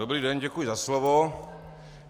Dobrý den, děkuji za slovo.